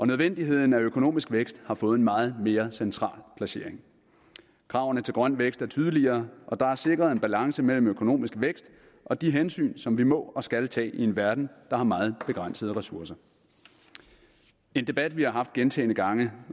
nødvendigheden af økonomisk vækst har fået en meget mere central placering kravene til grøn vækst er tydeligere og der er sikret en balance mellem økonomisk vækst og de hensyn som vi må og skal tage i en verden der har meget begrænsede ressourcer en debat vi har haft gentagne gange